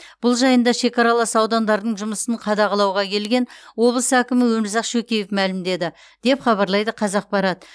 бұл жайында шекаралас аудандардың жұмысын қадағалауға келген облыс әкімі өмірзақ шөкеев мәлімдеді деп хабарлайды қазақпарат